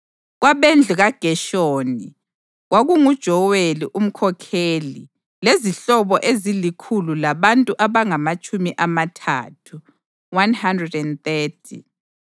kwabendlu kaGeshoni, kwakunguJoweli umkhokheli lezihlobo ezilikhulu labantu abangamatshumi amathathu (130);